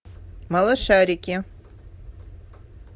малышарики